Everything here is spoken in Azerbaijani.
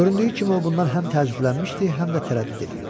Göründüyü kimi, o bundan həm təəccüblənmişdi, həm də tərəddüd eləyirdi.